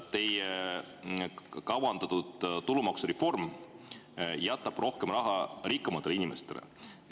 Teie kavandatud tulumaksureform jätab rohkem raha rikkamatele inimestele.